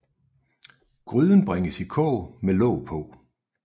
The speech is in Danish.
Gryden bringes i kog med låg på